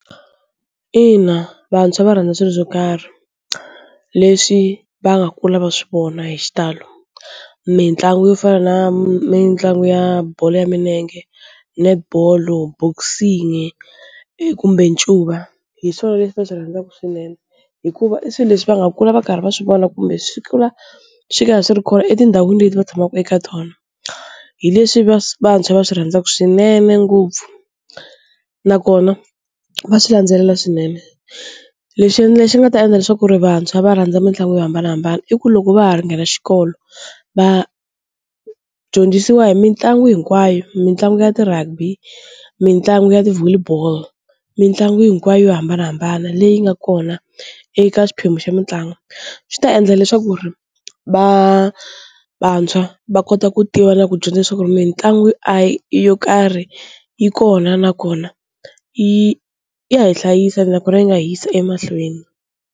Ina vantshwa va rhandza swilo swo karhi leswi va nga kula va swi vona hi xitalo mitlangu yo fana na mitlangu ya bolo ya milenge, netball, boxing kumbe ncuva hi swona leswi va swi rhandzaka swinene hikuva i swilo leswi va nga kula va karhi va swivona kumbe swi kula swi karhi swi ri kona etindhawini leti va tshamaka eka tona, hi leswi vantshwa va swi rhandzaka swinene ngopfu nakona va swi landzelela swinene, lexi lexi xi nga ta endla leswaku ri vantshwa va rhandza mitlangu yo hambanahambana i ku loko va ha nghena xikolo va dyondzisiwa hi mitlangu hinkwayo, mitlangu ya ti-rugby, mitlangu ya ti volley ball, mitlangu hinkwayo yo hambanahambana leyi nga kona eka xiphemu xa mitlangu swi ta endla leswaku ri va vantshwa va kota ku tiva na ku dyondza leswaku mitlangu yo karhi yi kona nakona yi ya hi hlayisa nakona yi nga hi yisa emahlweni.